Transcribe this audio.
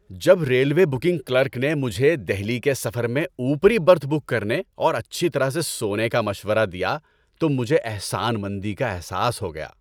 جب railway booking clerk نے مجھے دہلی کے سفر میں اوپری برتھ بک کرنے اور اچھی طرح سے سونے کا مشورہ دیا تو مجھے احسان مندی کا احساس ہو گیا۔